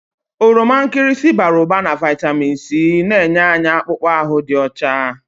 Oroma nkịrịsị bara ụba na vitamini C na-enye anyị akpụkpọ ahụ dị ọcha.